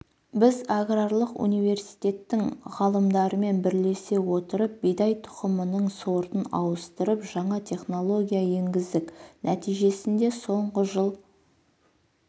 біз аграрлық университеттің ғалымдарымен бірлесе отырып бидай тұқымының сортын ауыстырып жаңа технология енгіздік нәтижесінде соңғы жыл